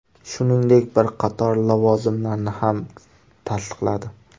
Shuningdek, bir qator lavozimlarni ham tasdiqladi.